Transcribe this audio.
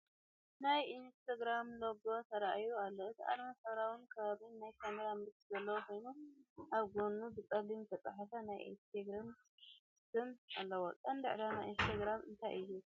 ናይ ኢንስታግራም ሎጎ ተራእዩ ኣሎ። እቲ ኣርማ ሕብራዊን ክቡብን ናይ ካሜራ ምልክት ዘለዎ ኮይኑ፡ ኣብ ጎድኑ ብጸሊም ዝተጻሕፈ ናይ ኢንስታግራም ስም ኣለዎ። ቀንዲ ዕላማ ኢንስታግራም እንታይ እዩ?